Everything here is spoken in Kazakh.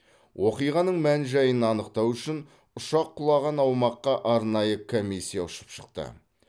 оқиғаның мән жайын анықтау үшін ұшақ құлаған аумаққа арнайы комиссия ұшып шықты